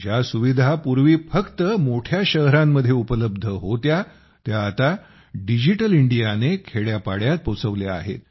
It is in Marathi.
ज्या सुविधा पूर्वी फक्त मोठ्या शहरांमध्ये उपलब्ध होत्या त्या आता डिजिटल इंडियाने खेड्यापाड्यात आणल्या आहेत